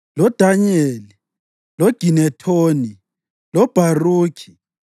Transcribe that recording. loDanyeli, loGinethoni, loBharukhi,